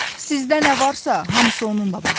Sizdə nə varsa, hamısı onunla bağlıdır.